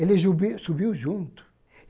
Ele subiu subiu junto.